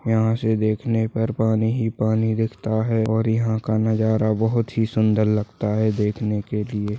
यहा से देखने पर पानी ही पानी दिखता है और यहा का नज़ारा बहुत ही सुन्दर लगता है देखने के लिए।